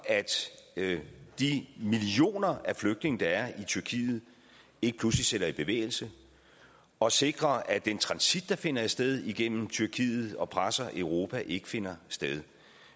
at de millioner af flygtninge der er i tyrkiet ikke pludselig sætter sig i bevægelse og at sikre at den transit der finder sted igennem tyrkiet og presser europa ikke finder sted